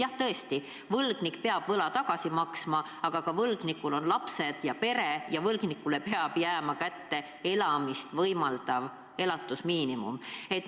Jah, tõesti, võlgnik peab võla tagasi maksma, aga ka võlgnikul on lapsed ja pere ja võlgnikule peab jääma kätte elamist võimaldav elatusmiinimum.